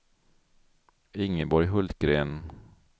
Ingeborg Hultgren